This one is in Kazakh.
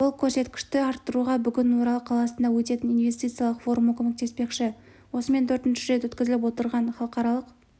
бұл көрсеткішті арттыруға бүгін орал қаласында өтетін инвестициялық форумы көмектеспекші осымен төртінші рет өткізіліп отырған халықаралық